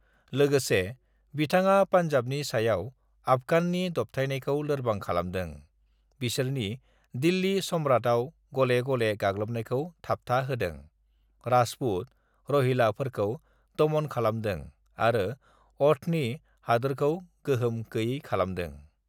"लोगोसे, बिथाङा पोंजाबनि सायाव ओफगाननि दबथायनायखौ लोरबां खालामदों, बिसोरनि दिल्लि सम्रातयाव गलेगले गाग्लोबनायखौ थाबथा होदों, राजपुत, रहिला फोरखौ दमन खालामदों आरो अ'धनि हादोरखौ गोहोम गैयै खालामदों।"